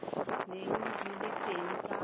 neng di le teng ka